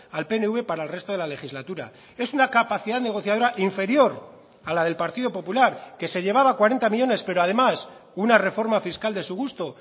al pnv para el resto de la legislatura es una capacidad negociadora inferior a la del partido popular que se llevaba cuarenta millónes pero además una reforma fiscal de su gusto